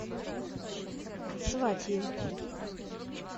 сватьи